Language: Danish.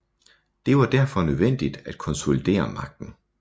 Det var derfor nødvendigt at konsolidere magten